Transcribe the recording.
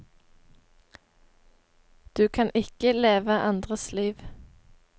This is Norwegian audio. Du kan ikke leve andres liv.